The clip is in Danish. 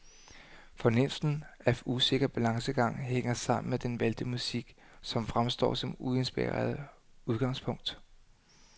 Fornemmelsen af usikker balancegang hænger sammen med den valgte musik, som fremstår som uinspirerende udgangspunkt.